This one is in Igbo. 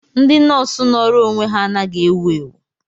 Ndị nọọsụ nọọrọ onwe ha anaghị ewu ewu.